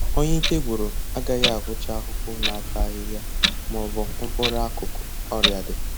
Onye ike gwụrụ agaghị ahụcha ahụhụ na-ata ahịhịa maọbụ mkpụrụ akụkụ ọrịa dị